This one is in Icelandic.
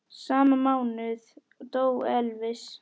Sama mánuð dó Elvis.